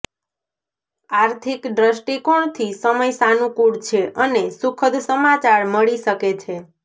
આર્થિક દ્રષ્ટિકોણથી સમય સાનુકૂળ છે અને સુખદ સમાચાર મળી શકે છે